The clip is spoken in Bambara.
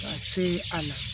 Ka se a la